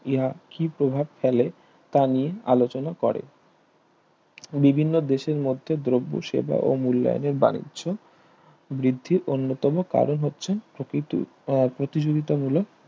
ইহা কি প্রভাব ফেলে তা নিয়ে আলোচনা করে বিভিন্ন দেশের মধ্যে দ্রব্য সেবা ও মূল্যায়নের বাণিজ্য বৃদ্ধির অন্যতম কারণ হচ্ছে প্রকৃত প্রতিযোগিতা মূলক